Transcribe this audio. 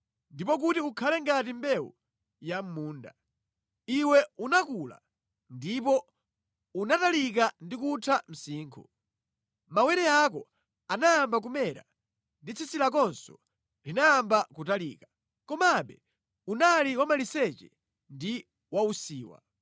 ndi kuti ukule ngati mbewu ya mʼmunda. Iwe unakula ndipo unatalika ndi kutha msinkhu. Mawere ako anayamba kumera ndi tsitsi lakonso linayamba kutalika. Komabe unali wamaliseche ndi wausiwa.